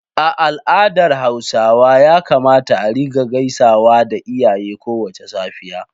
A al’adar Hausawa ya kamata a rika gaisawa da iyaye kowace safiya.